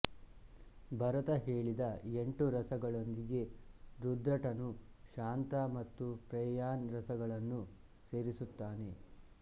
ಭರತ ಹೇಳಿದ ಎಂಟು ರಸಗಳೊಂದಿಗೆ ರುದ್ರಟನು ಶಾಂತ ಮತ್ತು ಪ್ರೇಯಾನ್ ರಸಗಳನ್ನೂ ಸೇರಿಸುತ್ತಾನೆ